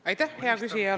Aitäh, hea küsija!